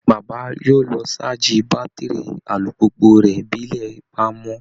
Bàbá yóò lọ ṣáàjì bátìrì alùpùpù rẹ̀ bí ilẹ̀ bá mọ́